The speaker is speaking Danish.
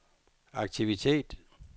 aktivitet